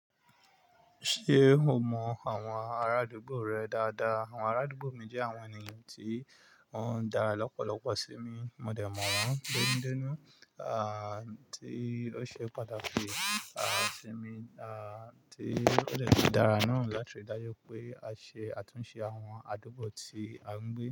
Ṣé o mọ àwọn arádúgbò rẹ dáadáa? Àwọn arádúgbò mi jẹ́ àwọn ènìyàn tí wọ́n ń dára lọ́pọ̀lọpọ̀ sí mi. Mo dẹ̀ mọ̀ wọ́n dénú dénú, à tí ó ṣe pàtàkì, à sí mi, à tí ó de tun dára náà láti ri daju pé a ṣe àtúnṣe àwọn àdúgbò tí à ń gbé.